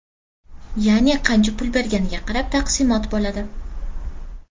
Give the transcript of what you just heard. Ya’ni qancha pul berganiga qarab taqsimot bo‘ladi .